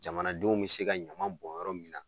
Jamanadenw be se ka ɲaman bɔn yɔrɔ min na.